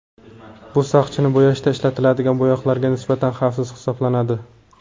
Bu sochni bo‘yashda ishlatiladigan bo‘yoqlarga nisbatan xavfsiz hisoblanadi.